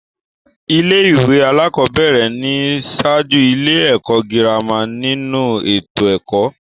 Ilé-ìwé alákọ̀ọ́bẹ̀rẹ̀ ni ń ṣáájú ilé-ẹ̀kọ́ girama nínu ètò ẹ̀kọ́.